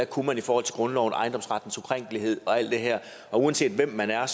kunne i forhold til grundloven ejendomsrettens ukrænkelighed og alt det her og uanset hvem man er